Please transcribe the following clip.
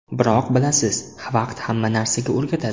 Biroq bilasiz vaqt hamma narsaga o‘rgatadi.